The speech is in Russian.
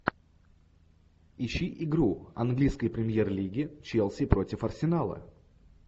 ищи игру английской премьер лиги челси против арсенала